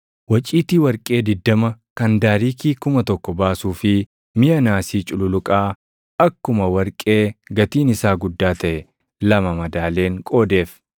waciitii warqee 20 kan daariikii + 8:27 Daariikiin tokko giraamii 8. 1,000 baasuu fi miʼa naasii cululuqaa akkuma warqee gatiin isaa guddaa taʼe lama madaaleen qoodeef.